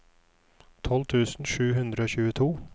tolv tusen sju hundre og tjueto